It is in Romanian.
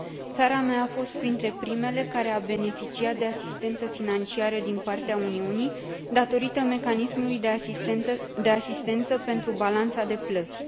Țara mea a fost printre primele care a beneficiat de asistență financiară din partea Uniunii, datorită mecanismului de asistență pentru balanța de plăți.